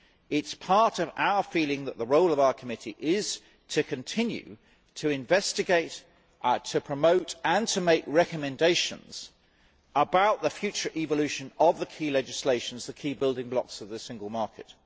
It is part of our feeling that the role of our committee is to continue to investigate, to promote and to make recommendations about the future evolution of the key legislations, the key building blocks of the single market.